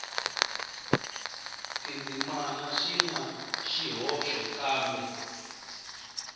tindzimana swi na swihoxo kambe